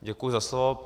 Děkuji za slovo.